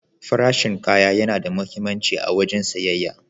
Farashin kaya yana da muhimmanci a wajen siyayya.